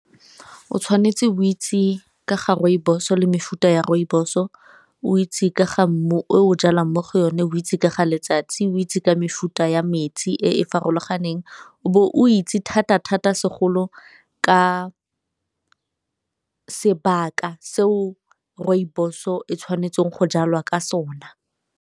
O tshwanetse o itse ka ga rooibos le mefuta ya rooibos-o, o itse ka ga mmu o jalang mo go yone, o itse ka ga letsatsi, o itse ka mefuta ya metsi e e farologaneng, o bo o itse thata thata segolo ka sebaka seo rooibos-o e tshwanetseng go jalwa ka sona.